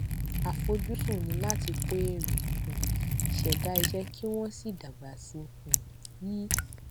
àfojúsùn ni láti kó èrè um ṣẹda iṣẹ kí wón sì dágbà sí um i